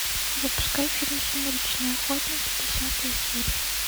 запускай фильм сумеречные охотники десятая серия